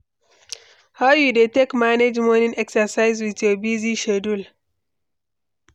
How you dey take manage morning exercise with your busy schedule?